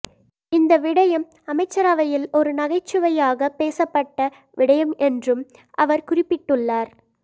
இந்த விடயம் அமைச்சரவையில் ஒரு நகைச்சுவையாகப் பேசப்பட்ட விடயம் என்றும் அவர் குறிப்பிட்டுள்ளார்